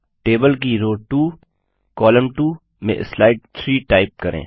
table की row 2 column 2 में slide 3 type करें